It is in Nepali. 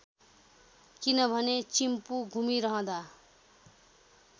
किनभने चिम्पु घुमिरहँदा